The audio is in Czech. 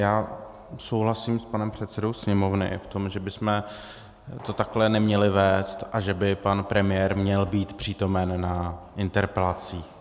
Já souhlasím s panem předsedou Sněmovny v tom, že bychom to takhle neměli vést a že by pan premiér měl být přítomen na interpelacích.